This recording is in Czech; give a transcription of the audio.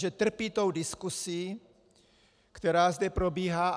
Že trpí tou diskusí, která zde probíhá.